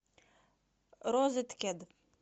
розеткед